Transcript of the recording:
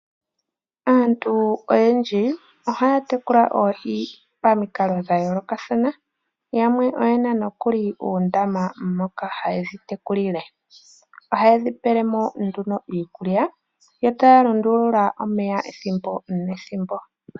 Aantu oyendji ohaya tekula oohi pamikalo dhayoolokathana. Yamwe oyena uundama mono haye dhi tekulile, ohadhi pelwa mo iikulya yo taya lundulula omeya ethimbo nethimbo.